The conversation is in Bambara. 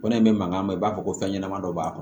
Kɔnɔ in bɛ mankan ma i b'a fɔ ko fɛn ɲɛnɛman dɔ b'a kɔnɔ